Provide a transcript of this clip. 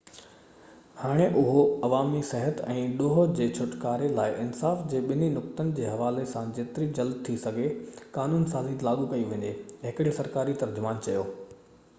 هاڻي اهو عوامي صحت ۽ ڏوهہ جي ڇوٽڪاري لاءِ انصاف جي ٻني نقطن جو حوالي سان جيترو جلدي ٿي سگهي قانون سازي لاڳو ڪئي وڃي هڪڙي سرڪاري ترجمان چيو